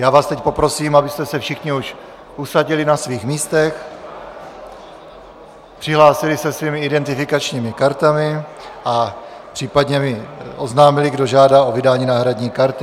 Já vás teď poprosím, abyste se všichni už usadili na svých místech, přihlásili se svými identifikačními kartami a případně mi oznámili, kdo žádá o vydání náhradní karty.